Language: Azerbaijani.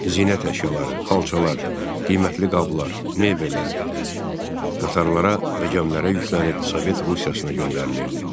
Zinət əşyaları, xalçalar, qimətli qablar, mebellər, qatarlara və gəmilərə yüklənib Sovet Rusiyasına göndərilirdi.